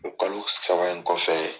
O kalo saba in kɔfɛ